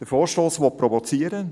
Der Vorstoss will provozieren.